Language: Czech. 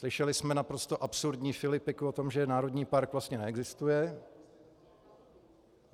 Slyšeli jsme naprosto absurdní filipiku o tom, že národní park vlastně neexistuje.